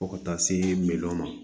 Fo ka taa se miliyɔn ma